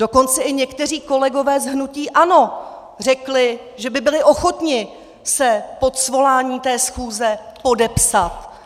Dokonce i někteří kolegové z hnutí ANO řekli, že by byli ochotni se pod svolání té schůze podepsat.